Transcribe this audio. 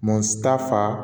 Mɔgɔ si t'a fa